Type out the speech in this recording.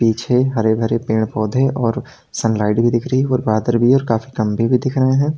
पीछे हरे भरे पेड़ पौधे और सनलाइट भी दिख रही और बादर भी है और काफी कम्बे भी दिख रहे हैं।